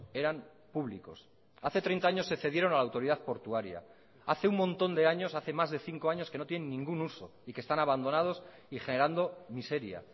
eran públicos hace treinta años se cedieron a la autoridad portuaria hace un montón de años hace más de cinco años que no tienen ningún uso y que están abandonados y generando miseria